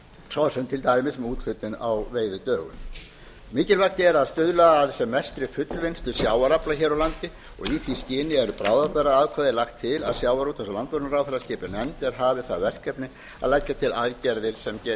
svo sem til dæmis með úthlutun á veiðidögum mikilvægt er að stuðla að sem mestri fullvinnslu sjávarafla hér á landi og í því skyni er með bráðabirgðaákvæði lagt til að sjávarútvegs og landbúnaðarráðherra skipi nefnd er hafi það verkefni að leggja til aðgerðir sem